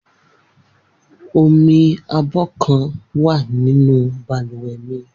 Omi abọ́ kan wà nínú balùwẹ̀ mi